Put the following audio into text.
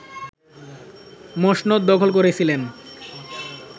মসনদ দখল করেছিলেন